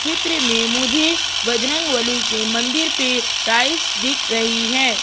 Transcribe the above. चित्र में मुझे बजरंगबली के मंदिर पे टाइल्स दिख रही है।